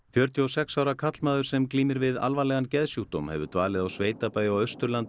fjörutíu og sex ára karlmaður sem glímir við alvarlegan geðsjúkdóm hefur dvalið á sveitabæ á Austurlandi